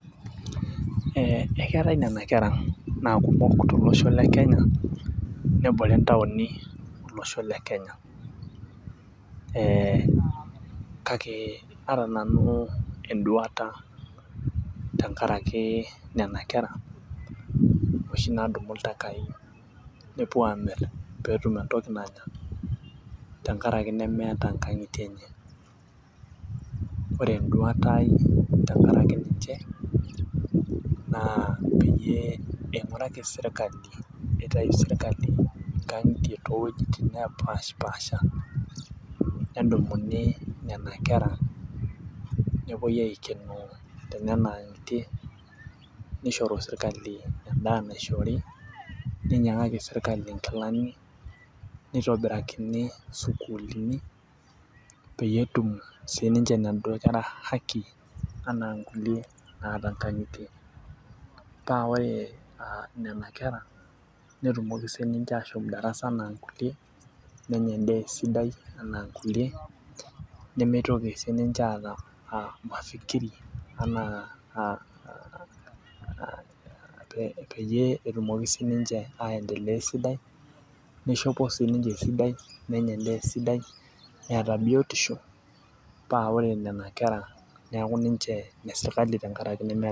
Ee ekeetae Nena kera naa kumok tolosho le kenya. nebore ntaaoni tolosho le Kenya.ee kake aata nanu eduata tenkaraki nena kera, oshi naadumu iltakai nepuonu aamir pee etum entoki nanya, tenkaraki nemeeta nkang'itie enye. ore eduata ai tenkaraki ninche naa peyie ing'uraki sirkali, pee itayu sirkali nkang'itie too wuejitin nepaashi pasha. nedumuni Nena kera, nepuoi aikenoo tenena ang'itie. nishoru sirkali edaa naishori. ninyiang'aki sirkali inkilani, nitobirakini sukuulini, peyie etum sii ninche inaduoo kera haki anaa nkulie naata nkang'itie. paa ore Nena kera netumoki sii ninche ashomo darasa anaa nkulie, nenya edaa esidai, anaa nkulie nemeitoki sii ninche aata aa mafikiri anaa aa peyie etumoki sii ninche aendelea esidai, nishopoi sii ninche esidai. nenya edaa esidai. neeta biotisho paa ore Nena kera neeku ninche ine sirkali tenkaraki nemeeta